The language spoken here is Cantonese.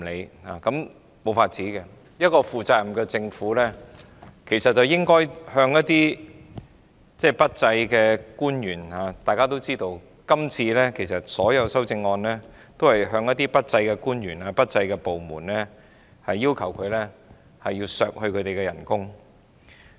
這樣也沒有辦法，一個負責任的政府其實應處罰表現不濟的官員，而大家也知道今次所有修正案都是針對表現不濟的官員及部門，要求削減他們的薪酬或開支。